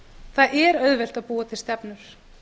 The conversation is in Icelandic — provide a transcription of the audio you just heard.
það er auðvelt að búa til stefnur